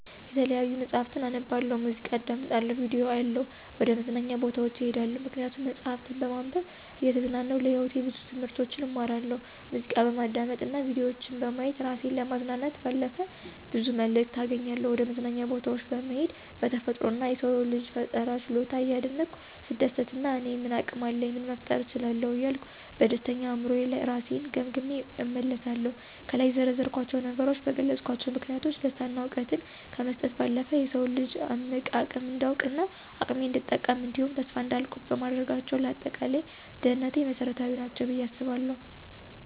የተለያዩ መጽሀፍትን አነባለሁ፣ ሙዚቃ አዳምጣለሁ፣ ቪዲዮ አያለሁ፣ ወደ መዝናኛ ቦታዎች እሄዳለሁ። ምክንያቱም መጽሀፍትን በማንበብ እየተዝናናሁ ለህይወቴ ብዙ ትምህርቶችን እማራለሁ፣ ሙዚቃ በማዳመጥ እና ቪዲዮ በማየት እራሴን ከማዝናናት ባለፈ ብዙ መልክት አገኛለሁ፣ ወደመዝናኛ ቦታወች በመሄድ በተፈጥሮ እና የሰውን ልጅ የፈጠራ ችሎታ እያደነኩ ስደሰትና እኔ ምን አቅም አለኝ ምን መፍጠር እችላለሁ እያልኩ በደስተኛ አእምሮየ እራሴን ገምግሜ እመለሳለሁ። ከላይ የዘረዘርኳቸው ነገሮች በገለጽኳቸው ምክንያቶች ደስታን እና እውቀትን ከመስጠት ባለፈ የሰውን ልጅ እምቅ አቅም እንዳውቅ እና አቅሜን እንድጠቀም እንዲሁም ተስፋ እንዳልቆርጥ በማድረጋቸው ለአጠቃላይ ደህንነቴ መሰረታዊ ናቸው ብየ አስባለሁ።